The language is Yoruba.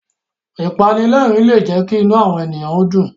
Ìpanilẹ́rìn-ín lè jẹ́ kí inú àwọn èyàn dùn.